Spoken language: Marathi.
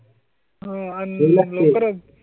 हो आणि मग.